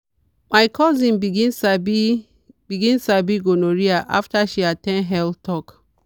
my cousin begin sabi begin sabi gonorrhea after she at ten d health talk.